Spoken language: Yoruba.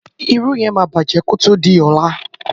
Irú yen máa bàjẹ́ kí o tó di ọ̀la.